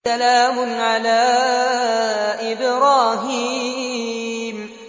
سَلَامٌ عَلَىٰ إِبْرَاهِيمَ